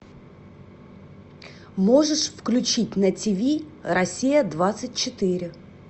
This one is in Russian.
можешь включить на тв россия двадцать четыре